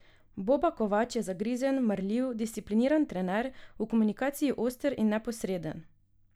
Boba Kovač je zagrizen, marljiv, discipliniran trener, v komunikaciji oster in neposreden.